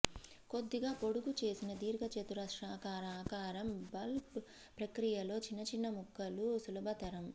కొద్దిగా పొడుగుచేసిన దీర్ఘచతురస్రాకార ఆకారం బల్బ్ ప్రక్రియలో చిన్న చిన్న ముక్కలు సులభతరం